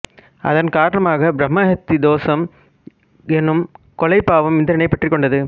அதன் காரணமாக பிரம்மஹத்தி தோசம் எனும் கொலைப் பாவம் இந்திரனை பற்றிக் கொண்டது